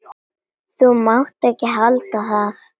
Þú mátt ekki halda að.